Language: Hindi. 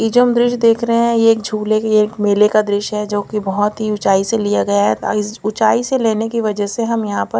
ये जो हम दृश्य देख रहे है ये एक झूले एक मेले का दृश्य है जो की बहोत ही उचाई से लिया गया है ऊंचाई से लेने की बजा से हम यहाँ पर --